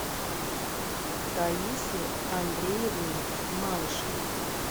таисе андреевне малышевой